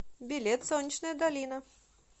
билет солнечная долина